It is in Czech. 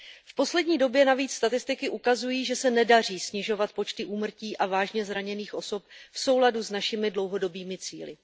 V poslední době navíc statistiky ukazují, že se nedaří snižovat počty úmrtí a vážně zraněných osob v souladu s našimi dlouhodobými cíli.